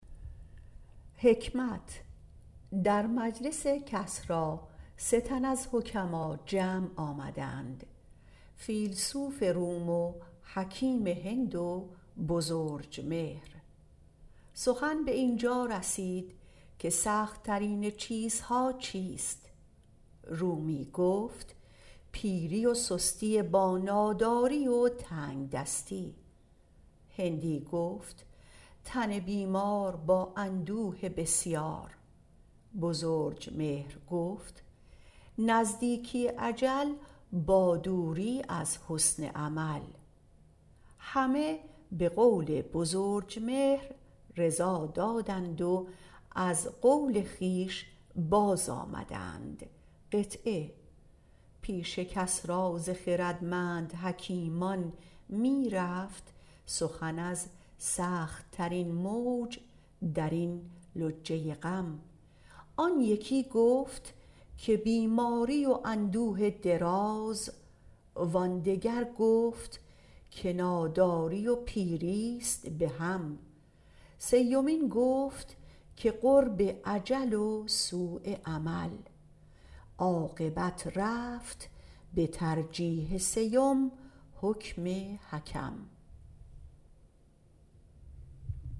در مجلس کسری سه تن از حکما جمع آمدند فیلسوف روم و حکیم هند و بزرجمهر سخت ترین سخن به آنجا رسید که سخت ترین چیزها چیست رومی گفت پیری و سستی با ناداری و تنگدستی هندی گفت تن بیمار با اندوه بسیار بزرجمهر گفت نزدیکی اجل با دوری از حسن عمل همه به قول بزرجمهر بازآمدند پیش کسری ز خردمند حکیمان می رفت سخن از سخت ترین موج درین لجه غم وان یکی گفت که بیماری و اندوه دراز وان دگر گفت که ناداری و پیریست به هم سومین گفت که قرب اجل و سؤ عمل عاقبت رفت به ترجیح سیوم حکم حکم